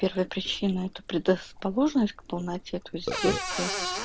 первая причина это предрасположенность к полноте то есть в детстве